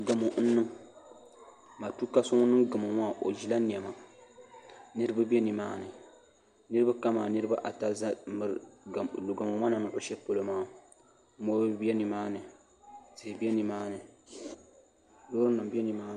Gamo n niŋ matuuka so ŋun niŋ gamo maa o ʒila niɛma niraba bɛ nimaani niraba kamani niraba ata ʒɛ n miri gamo ŋɔ ni niŋ shɛli polo maa mɔri bɛ nimaani tihi bɛ nimaani loori nim bɛ nimaani